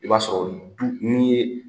I b'a sɔrɔ du nin ye.